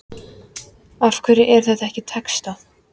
Af hverju er þetta ekki textað?